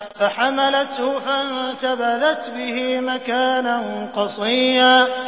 ۞ فَحَمَلَتْهُ فَانتَبَذَتْ بِهِ مَكَانًا قَصِيًّا